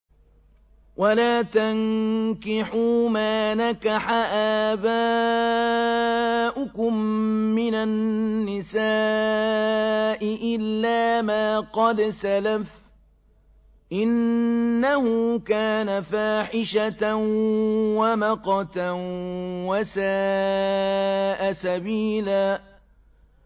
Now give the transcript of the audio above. وَلَا تَنكِحُوا مَا نَكَحَ آبَاؤُكُم مِّنَ النِّسَاءِ إِلَّا مَا قَدْ سَلَفَ ۚ إِنَّهُ كَانَ فَاحِشَةً وَمَقْتًا وَسَاءَ سَبِيلًا